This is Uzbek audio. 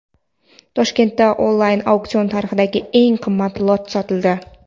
Toshkentda onlayn auksion tarixidagi eng qimmat lot sotildi.